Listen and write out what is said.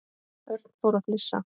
Örn fór að flissa.